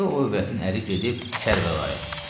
İndi o övrətin əri gedib Kərbəlaya.